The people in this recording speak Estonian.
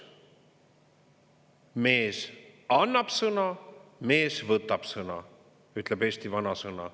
"Mees annab sõna, mees võtab sõna", ütleb eesti vanasõna.